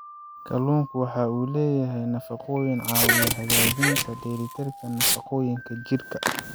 Kalluunku waxa uu leeyahay nafaqooyin caawiya hagaajinta dheellitirka nafaqooyinka jidhka.